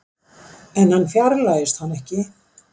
En hann fjarlægist hana ekki.